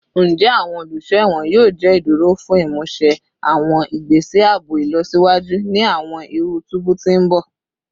Njẹ awọn oluso ẹwọn yoo jẹ iduro fun imuse awọn igbese aabo ilọsiwaju ni awọn iru tubu ti n bọ?